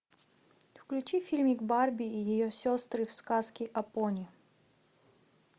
включи фильмик барби и ее сестры в сказке о пони